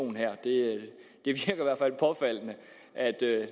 og her det er det